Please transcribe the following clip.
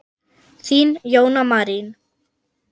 Þín, Jóna Marín.